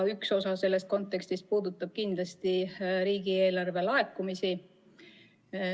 Üks osa sellest kontekstist puudutab kindlasti riigieelarve laekumisi.